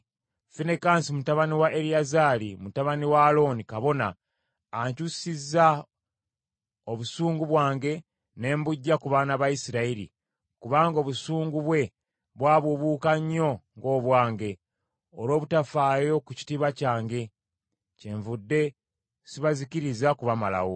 “Finekaasi mutabani wa Eriyazaali, mutabani wa Alooni kabona, ankyusisizza obusungu bwange ne mbuggya ku baana ba Isirayiri; kubanga obusungu bwe bwabuubuuka nnyo ng’obwange olw’obutafaayo ku kitiibwa kyange, kyenvudde sibazikiriza kubamalawo.